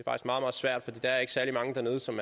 meget meget svært for der er ikke særlig mange dernede som